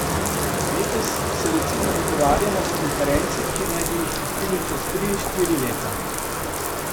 Letos se recimo dogovarjamo za konference, ki naj bi jih gostili čez tri, štiri leta.